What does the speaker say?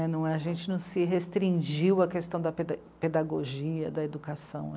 É, não, a gente não se restringiu à questão da peda... pedagogia, da educação.